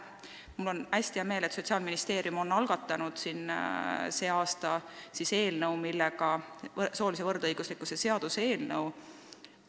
Mul on hästi hea meel, et Sotsiaalministeerium on sel aastal algatanud soolise võrdõiguslikkuse seaduse eelnõu.